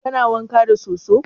Kana wanka da soso?